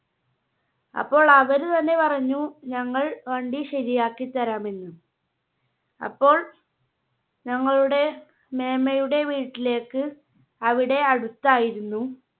അപ്പോൾ അവര് തന്നെ പറഞ്ഞു ഞങ്ങൾ വണ്ടി ശരിയാക്കി തരാം എന്ന്. അപ്പോൾ ഞങ്ങളുടെ മേമ്മയുടെ വീട്ടിലേക്ക് അവിടെ അടുത്തായിരുന്നു.